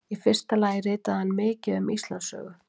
Í fyrsta lagi ritaði hann mikið um Íslandssögu.